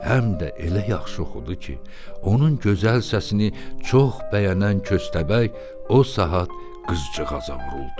Həm də elə yaxşı oxudu ki, onun gözəl səsini çox bəyənən köstəbək o saat qızcığaza vuruldu.